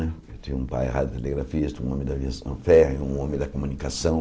Né eu tinha um pai radiotelegrafista, um homem da aviação ferro, um homem da comunicação.